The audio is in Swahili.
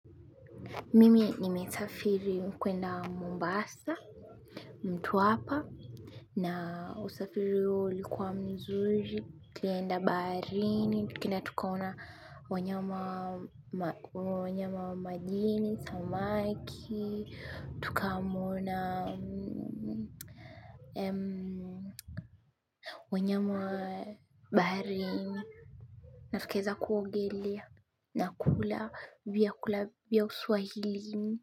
Mimi nimesafiri kwenda Mombasa, mtwapa na usafiri huo ulikuwa mzuri, tulienda baharini, tukaenda tukaona wanyama wa majini, samaki, tukamuona wanyama wa baharini, na tukaeza kuogelea na kula vyakula vya uswahilini.